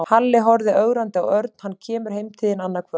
Halli horfði ögrandi á Örn. Hann kemur heim til þín annað kvöld